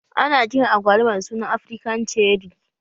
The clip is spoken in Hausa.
Ana kiran agwaluma da suna Afrikan cerri